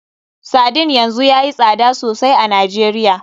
Sardine yanzu yayi tsada sosai a Najeriya.